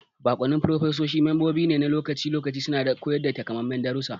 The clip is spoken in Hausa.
Baƙwannin furofesoshi membobi ne na lokaci-lokaci suna koyar da takamaiman darussa.